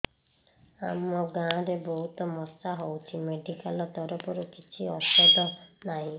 ଆମ ଗାଁ ରେ ବହୁତ ମଶା ହଉଚି ମେଡିକାଲ ତରଫରୁ କିଛି ଔଷଧ ନାହିଁ